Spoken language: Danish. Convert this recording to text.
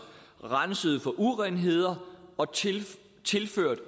renset for urenheder og tilført